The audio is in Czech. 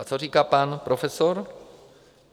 A co říká pan profesor?